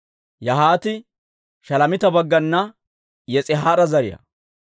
Yahaati Shalomiita baggana Yis'ihaara zariyaa.